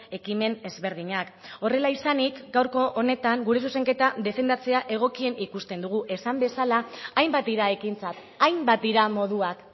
ekimen ezberdinak horrela izanik gaurko honetan gure zuzenketa defendatzea egokien ikusten dugu esan bezala hainbat dira ekintzak hainbat dira moduak